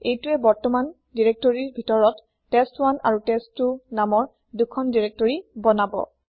এইতোৱে বৰ্তমান দিৰেক্তৰিৰ ভিতৰত টেষ্ট1 আৰু টেষ্ট2 নামৰ ২খন দিৰেক্তৰি বনাব